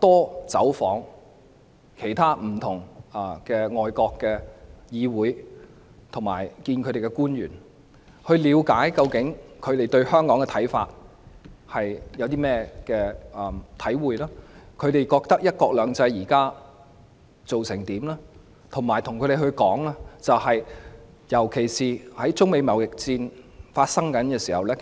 多走訪不同的外國議會及與外國官員會面，了解他們對香港有何看法，對"一國兩制"現時的成效有何看法，以及向他們表達香港不應被牽涉在中美貿易戰內的意見。